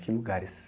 Que lugares...